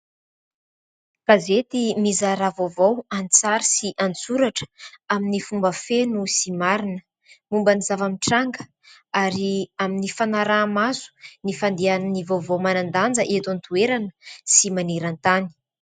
Gazety mizara vaovao an-tsary sy an-tsoratra amin'ny fomba feno sy marina. Momba ny zava-mitranga ary amin'ny fanaraha-maso ny fandehan'ny vaovao manan-danja eto an-toerana sy maneran-tany.